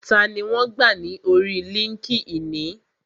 Tani wọn gbà ní orí líńki-inì?